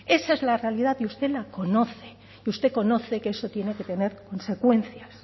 esa es la realidad y usted la conoce y usted conoce que eso tiene que tener consecuencias